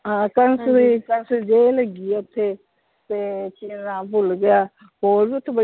ਹਾਂ ਕੰਸ ਦੀ ਕੰਸ ਦੀ ਜੇਲ ਹੈਗੀ ਆ ਓਥੇ ਤੇ ਕਿ ਓਹਦਾ ਨਾਮ ਭੁੱਲ ਗਿਆ ਹੋਰ ਵੀ ਓਥੇ,